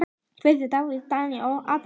Kveðja: Davíð, Daníel og Adam.